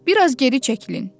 Bir az geri çəkilin!”